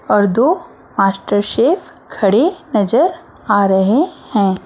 और दो master chef खड़े नजर आ रहे हैं।